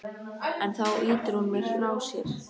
En þá ýtir hún mér frá sér.